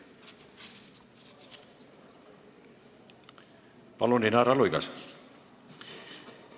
Palun, Inara Luigas!